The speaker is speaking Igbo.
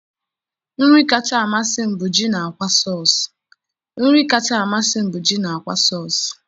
nri kacha amasị m bụ ji na akwa sauce